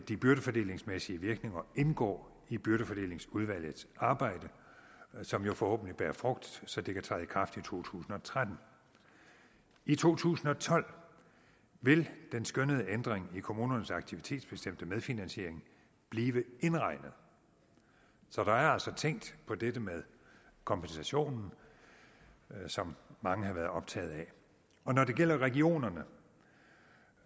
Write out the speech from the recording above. de byrdefordelingsmæssige virkninger indgå i byrdefordelingsudvalgets arbejde som jo forhåbentlig bærer frugt så det kan træde i kraft i to tusind og tretten i to tusind og tolv vil den skønnede ændring i kommunernes aktivitetsbestemte medfinansiering blive indregnet så der er altså tænkt på dette med kompensationen som mange har været optaget af når det gælder regionerne